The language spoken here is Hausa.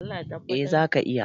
Eh zaka iya.